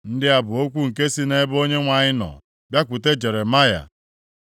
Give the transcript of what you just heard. Ndị a bụ okwu nke sị nʼebe Onyenwe anyị nọ bịakwute Jeremaya.